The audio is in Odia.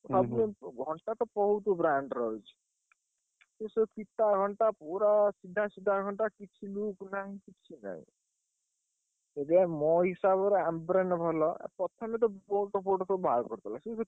ସବୁ ଘଣ୍ଟା ତ ବହୁତ୍ brand ର ଅଛି। ସବୁ ଫିତା ଘଣ୍ଟା ପୁରା ସିଧା ସିଧା ଘଣ୍ଟା କିଛି ବି ନାହିଁ। କିଛି ନାହିଁ। ଇରେ ମୋ ହିସାବରେ Noise ଭଲ ପ୍ରଥମେ ତ Ambrane ବାହାର କରିଦେଲା ।